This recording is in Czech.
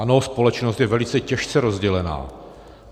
Ano, společnost je velice těžce rozdělená.